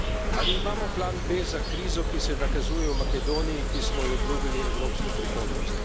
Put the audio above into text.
Ali imamo plan B za krizo, ki se nakazuje v Makedoniji, ki smo ji obljubili evropsko prihodnost?